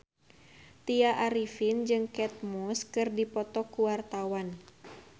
Tya Arifin jeung Kate Moss keur dipoto ku wartawan